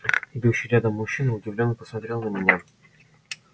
идущий рядом мужчина удивлённо посмотрел на меня